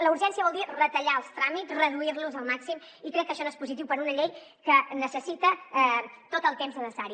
la urgència vol dir retallar els tràmits reduir los al màxim i crec que això no és positiu per a una llei que necessita tot el temps necessari